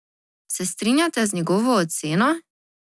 Se strinjate z njegovo oceno?